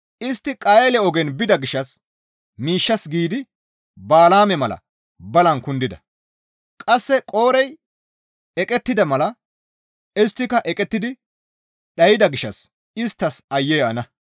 Istti Qayeele ogen bida gishshas miishshas giidi Bala7aame mala balan kundida; qasse Qoorey eqettida mala isttika eqettidi dhayda gishshas isttas aayye ana!